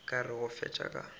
ka re go fetša ka